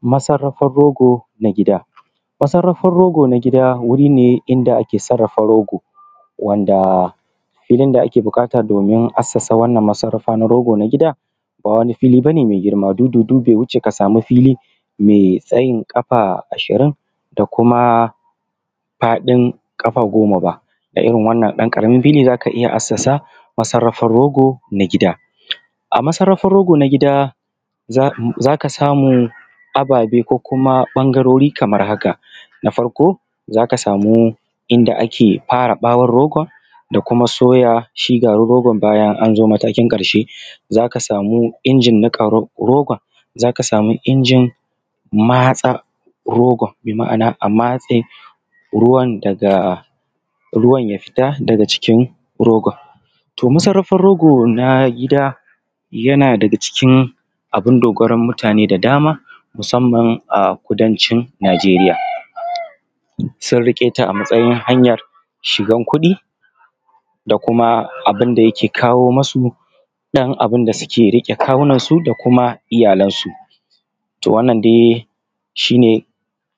Masarrafan rogo na gida. Masarrafan rogo na gida wuri ne da ake sarrafa rogo wanda filin da ake buƙata domin a san wannan masarrafa na rogo a gida ba wani wuri ba ne me girma, dudu be wuce ka sami fili me tsayin ƙafa ashirin da kuma faɗin ƙafa goma ba, da irin wannan ɗan ƙaramin fili za ka iya haddasa masarrafar rogo na gida. A masarrafan rogo na gida za ka samu akwai ababe ko kuma ɓangarori kamar haka: na farko za ka saka samu inda ake ɓare ɓawon rogon da kuma soya shi garin rogon. Bayan an zo shi matakin ƙarshe za ka samu injin niƙa rogon, za ka samu ijin matsar rogon bi ma’ana a matse ruwan daga ruwan ya fita daga jikin rogon. To, masarrafan rogo na gida yana da daga cikin abun dogoron mutane da dama musamman a kudancin, arewa sun riƙe ta a matsayin hanyan shan wasu da kuma abun da yake kawo musu ɗan abun da suke riƙe kawunansu da kuma iyalansu. To, wannan dai shi ne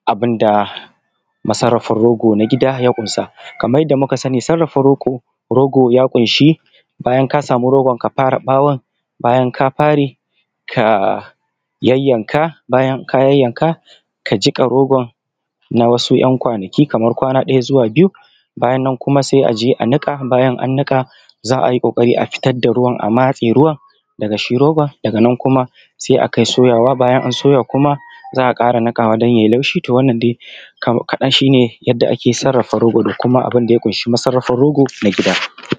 abun da masarrafar rogo na gida ya ƙunsa kamar kaman yadda muka sani sarrafa rogo ya ƙunshi bayar ka samu rogo ka bare bawon bayan ka bare ka yayyanka, bayan ka yayyanka ka jiƙa rogo na waɗansu ɗan kwanaki kaman kwana ɗaya zuwa biyu bayan nan se a je a daka bayan an daka za a yi ƙoƙari fidda da ruwan, a matse ruwan daga shi rogon daga nan kuma se a kai soyawa, bayan an soya kuma za a ƙara niƙawa dan ya yi laushi da wanna dai yadda ake sarrafa rogo a gida.